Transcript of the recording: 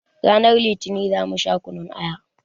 Ranar litinin za mu sha kunun aya